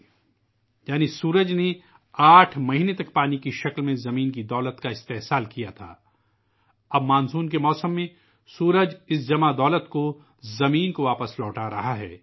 اس کا مطلب ہے، سورج نے زمین کی دولت کو پانی کی شکل میں استعمال کیا، اب مانسون کے موسم میں، سورج یہ جمع کی گئی دولت زمین کو واپس کر رہا ہے